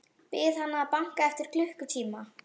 Bið hana að banka eftir klukkutíma.